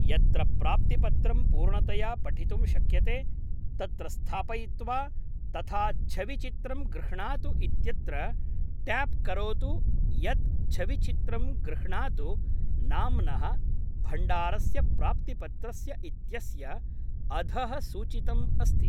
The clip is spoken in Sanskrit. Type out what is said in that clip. यत्र प्राप्तिपत्रं पूर्णतया पठितुं शक्यते तत्र स्थापयित्वा तथा छविचित्रं गृह्णातु इत्यत्र ट्याप् करोतु यत् छविचित्रं गृह्णातु नाम्नः भण्डारस्य प्राप्तिपत्रस्य इत्यस्य अधः सूचितम् अस्ति।